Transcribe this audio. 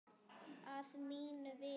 Að mínu viti.